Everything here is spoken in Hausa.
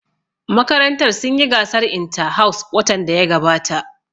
Makarantar sun yi gasar inta-house watan da ya gabata